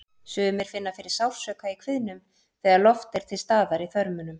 Sumir finna fyrir sársauka í kviðnum þegar loft er til staðar í þörmunum.